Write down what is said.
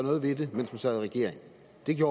det giver